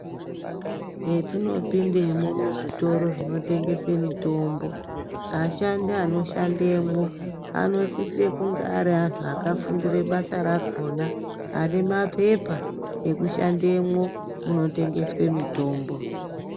Metinopindemo muzvitoro zvinotengese mitombo, ashandi anoshandemwo anosise kunge ari vantu vakafundire basa rakhona vane maphepa ekushandemwo munotengeswe mitombo.